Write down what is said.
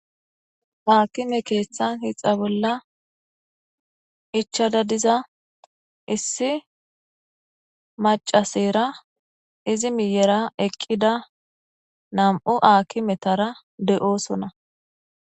Aakime keessan hixa bolla ichada diza issi macasera izi miyera eqqida nam'u aakimetara de'oqosona.